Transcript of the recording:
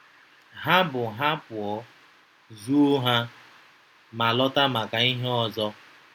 Ha bu ha pụọ, zoo ha, ma lọta maka ihe ọzọ.